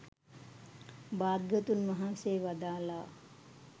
භාග්‍යවතුන් වහන්සේ වදාළා